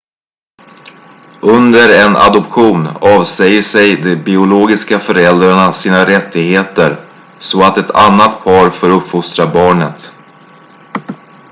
under en adoption avsäger sig de biologiska föräldrarna sina rättigheter så att ett annat par får uppfostra barnet